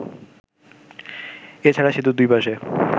এছাড়া সেতুর দুই পাশে